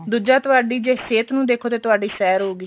ਦੂਜਾ ਤੁਹਾਡੀ ਜੇ ਸਿਹਤ ਨੂੰ ਦੇਖੋ ਤਾਂ ਤੁਹਾਡੀ ਸੈਰ ਹੋ ਗਈ